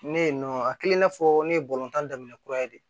Ne yen nɔ a kɛlen n'a fɔ ne ye tan daminɛ kura ye de